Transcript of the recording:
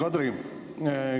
Hea Kadri!